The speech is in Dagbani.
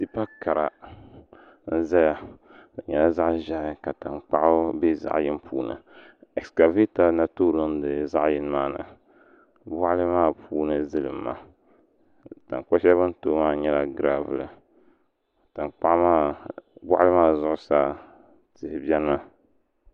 Tipa kara n ʒɛya bi nyɛla zaɣ ʒiɛhi ka tankpaɣu bɛ zaɣ yini puuni ɛskavɛta n na toori niŋdi zaɣ yini maa ni boɣali maa puuni zilimma tankpa shɛli bi ni tooi maa nyɛla gravul boɣali maa zuɣusaa tihi biɛni mi